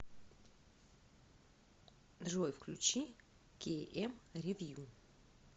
джой включи кей эм ревью